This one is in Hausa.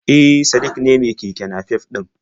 E, Sadik ne mai keke nafef ɗin